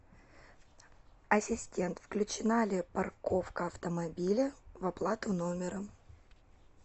ассистент включена ли парковка автомобиля в оплату номера